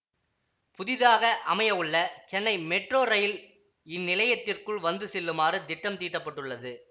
புதிதாக அமைய உள்ள சென்னை மெட்ரோ ரயில் இந்நிலையத்திற்குள் வந்து செல்லுமாறு திட்டம் தீட்டப்பட்டுள்ளது